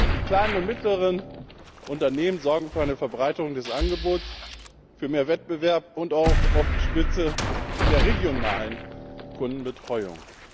Die kleinen und mittleren Unternehmen sorgen für eine Verbreiterung des Angebots, für mehr Wettbewerb und sind auch oft Spitze in der regionalen Kundenbetreuung.